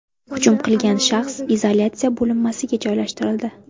Hujum qilgan shaxs izolyatsiya bo‘linmasiga joylashtirildi.